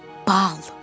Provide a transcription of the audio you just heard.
Bal.